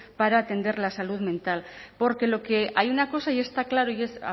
para atender la salud mental porque lo que hay una cosa y está claro y es